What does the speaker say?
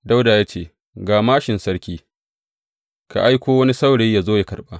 Dawuda ya ce, Ga māshin sarki, ka aiko wani saurayi yă zo yă karɓa.